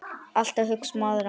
Alltaf að hugsa um aðra.